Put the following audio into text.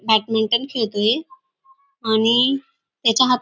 badminton खेळतोय आणि त्याच्या हात --